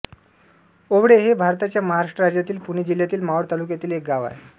ओवळे हे भारताच्या महाराष्ट्र राज्यातील पुणे जिल्ह्यातील मावळ तालुक्यातील एक गाव आहे